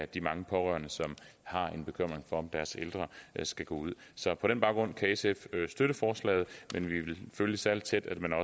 de mange pårørende som har en bekymring for at deres ældre skal gå ud så på den baggrund kan sf støtte forslaget men vi vil følge særlig tæt at man